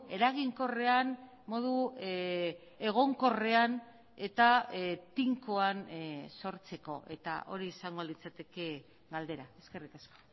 eraginkorrean modu egonkorrean eta tinkoan sortzeko eta hori izango litzateke galdera eskerrik asko